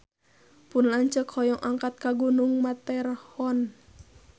Pun lanceuk hoyong angkat ka Gunung Matterhorn